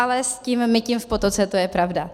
Ale s tím mytím v potoce to je pravda.